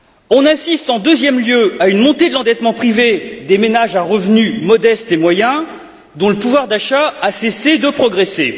On assiste en deuxième lieu à une montée de l'endettement privé des ménages à revenus modestes et moyens, dont le pouvoir d'achat a cessé de progresser.